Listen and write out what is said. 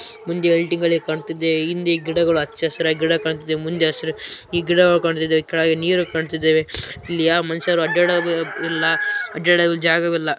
ಮುಂದೆ ಕಾಣುತ್ತಿದೆ ಹಿಂದೆ ಹಚ್ಚಹಸಿರಾಗಿ ಗಿಡ ಕಾಣ್ತಾ ಇದೆ ಮುಂದೆ ಹಸಿರು ಗಿಡ ಕಾಣ್ತಾ ಇದೆ ಕೆಳಗಡೆ ನೀರು ಕಾಣ್ತಾ ಇದ್ದೇವೆ ಇಲ್ಲಿ ಯಾ ಮನುಷ್ಯರು ಅಡ್ಡಾಡುವುದಿಲ್ಲ ಅಡ್ಡಾಡಲು ಜಾಗವಿಲ್ಲ.